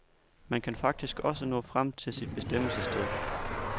Man kan faktisk også nå frem til sit bestemmelsessted.